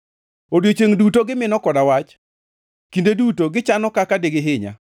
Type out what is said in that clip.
Odiechiengʼ duto gimino koda wach; kinde duto gichano kaka digihinya.